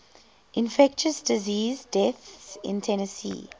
infectious disease deaths in tennessee